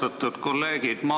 Austatud kolleegid!